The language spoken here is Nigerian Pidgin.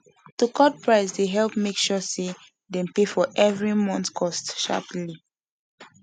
to cut price dey help make sure say dem pay for everi month cost sharperly